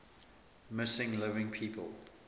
missing living people